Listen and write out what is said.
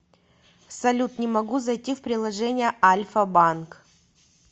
салют не могу зайти в приложение альфа банк